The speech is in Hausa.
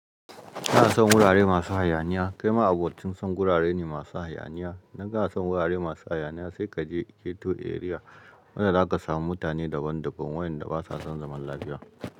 Ina son wurare masu hayaniya. Kai ma abocin son gurare ne masu hayaniya. Idan ka na son gurare masu hayaniya sai ka je ghetto area. Wajen da za ka samu mutane daban daban waƴanda basa son zaman lafiya.